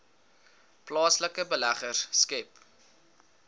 plaaslike beleggers skep